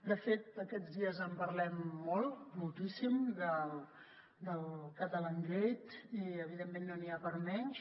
de fet aquests dies en parlem molt moltíssim del catalangate i evidentment no n’hi ha per a menys